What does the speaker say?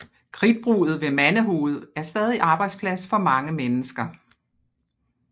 Kridtbruddet ved Mandehoved er stadig arbejdsplads for mange mennesker